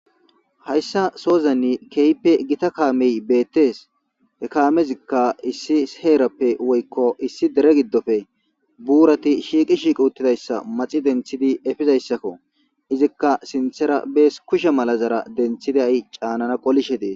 hayssa sozanni kehippe gita kaamey beettees hekaamezikka issi heerappe woykko issi dere giddofe buurati shiiqi shiiqi uttidayssa maxi denthidi efizayssakko izikka sinthera bees kushe mala zara denthiday caanana qolishe dees.